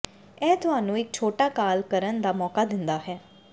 ਇਹ ਤੁਹਾਨੂੰ ਇੱਕ ਛੋਟਾ ਕਾਲ ਕਰਨ ਦਾ ਮੌਕਾ ਦਿੰਦਾ ਹੈ